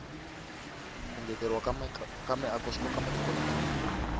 ku ngeteleriwa ka miako swikoka matiko lam nwana